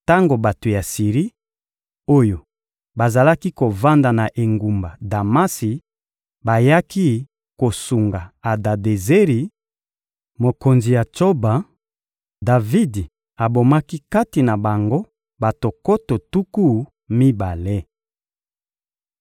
Tango bato ya Siri oyo bazalaki kovanda na engumba Damasi bayaki kosunga Adadezeri, mokonzi ya Tsoba, Davidi abomaki kati na bango bato nkoto tuku mibale.